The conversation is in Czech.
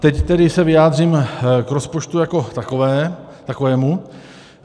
Teď se tedy vyjádřím k rozpočtu jako takovému.